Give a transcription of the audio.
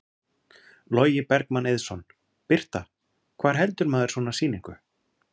Logi Bergmann Eiðsson: Birta, hvar heldur maður svona sýningu?